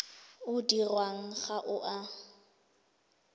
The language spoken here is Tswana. o dirwang ga o a